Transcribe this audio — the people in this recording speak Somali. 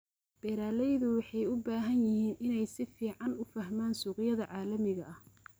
Beeralaydu waxay u baahan yihiin inay si fiican u fahmaan suuqyada caalamiga ah.